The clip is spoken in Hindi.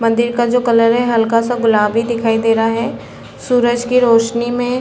मंदिर का जो कलर है हल्का सा गुलाबी दिखाई दे रहा हैं सूरज की रौशनी में --